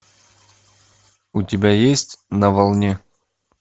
у тебя есть на волне